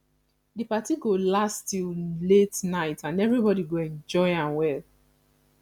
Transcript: di party go last till late night and everybody go enjoy am well